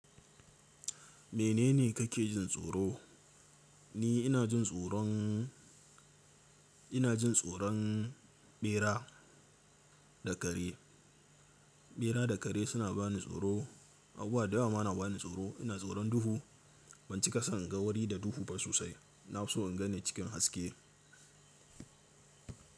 Menene kake jin tsoro? Ni ina jin tsoron, ina jin tsoron ɓera da kare. Ɓera da kare suna bani tsoro. Abubuwa da yawa ma na bani tsoro. Ina tsoron duhu. Ban cika son in ga wuri da duhu ba sosai. Na fi so in ganni cikin haske.